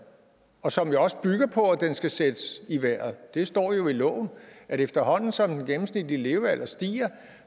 og som også bygger på at den skal sættes i vejret det står jo i loven at efterhånden som den gennemsnitlige levealder stiger